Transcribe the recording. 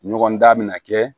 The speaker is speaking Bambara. Ɲɔgɔn dan bɛ na kɛ